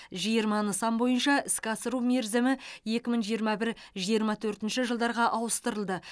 жиырма нысан бойынша іске асыру мерзімі екі мың жиырма бір жиырма төртінші жылдарға ауыстырылды